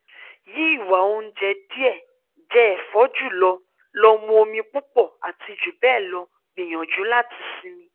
yi iwa ounje die je efo ju lo lo mu omi pupo ati jubelo gbiyanju lati simi